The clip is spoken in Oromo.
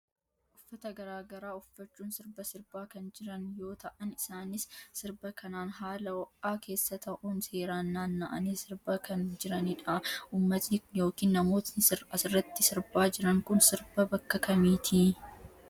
Uffata garaa garaa uffachuun sirba sirbaa kan jiran yoo ta'an isaanis sirba kanaan haala o'aa keessa ta'uun seeraan naanna'anii sirbaa kan jiranidha. Ummati yookiin namooti asirratti sirbaa jiran kun sirba bakka kamiitii?